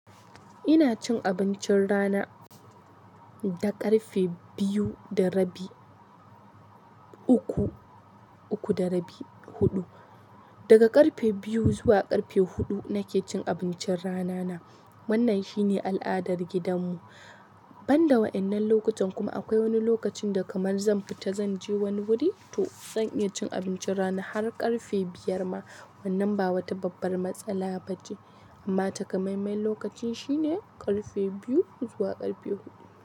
Ina cin abincin rana da ƙarfe biyu da rabi, uku, uku da rabi, huɗu. Daga ƙarfe biyu zuwa ƙarfe huɗu nake cin abincin rana na. Wannan shine al'adar gidan mu. Ban da waɗannan lokutan kuma akwai wani lokacin da kamar zan fita zan je wani wuri to zan iya cin abincin rana har ƙarfe biyar ma. Wannan ba wata babban matsala bace amma taƙamamman lokaci shine karfe biyu zuwa karfe huɗu.